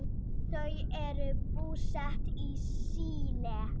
Þau eru búsett í Síle.